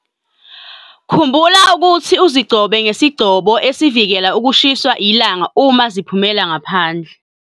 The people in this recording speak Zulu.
Khumbula ukuthi uzigcobe ngesigcobo esivikela ukushiswa ilanga uma ziphumela ngaphandle.